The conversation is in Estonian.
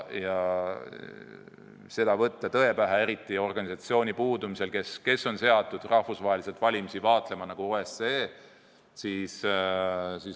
Nii et seda tõe pähe võtta ei saa, eriti kui puudus organisatsioon, kes on seatud rahvusvaheliselt valimisi vaatlema, puudus OSCE.